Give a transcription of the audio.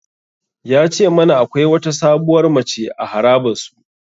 Ya ce mana akwai wata sabuwar mace a harabar su.